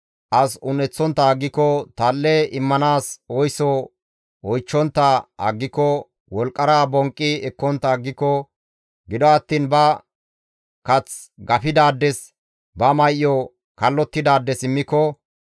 as un7eththontta aggiko, tal7e immanaas oyso oychchontta aggiko, wolqqara bonqqi ekkontta aggiko, gido attiin ba kath gafidaades, ba may7o kallottidaades immiko,